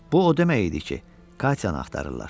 Bu o demək idi ki, Katyanı axtarırlar.